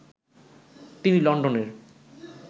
তিনি লন্ডনের